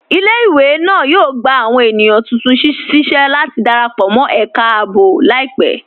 Ilẹ̀-ìwé náà yóò gbà awọn ènìyàn tuntun síṣẹ̀ láti darapọ̀ mọ̀ ẹká ààbò laipẹ̀.